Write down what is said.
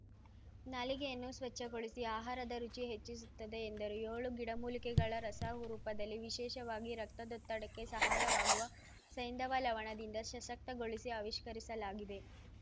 ನಾಲಿಗೆಯನ್ನು ಸ್ವಚ್ಛಗೊಳಿಸಿ ಆಹಾರದ ರುಚಿ ಹೆಚ್ಚಿಸುತ್ತದೆ ಎಂದರು ಯೋಳು ಗಿಡಮೂಲಿಕೆಗಳ ರಸ ರೂಪದಲ್ಲಿ ವಿಶೇಷವಾಗಿ ರಕ್ತದೊತ್ತಡಕ್ಕೆ ಸಹಾಯವಾಗುವ ಸೈಂಧವ ಲವಣದಿಂದ ಸಶಕ್ತಗೊಳಿಸಿ ಅವಿಷ್ಕರಿಸಲಾಗಿದೆ